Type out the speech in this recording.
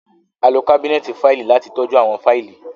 A lo kabinẹti faili lati tọju awọn faili